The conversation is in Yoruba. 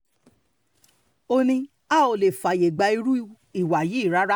ó ní a ò lè fààyè gba irú ìwà yìí rárá